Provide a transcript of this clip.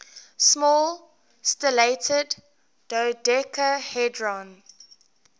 small stellated dodecahedron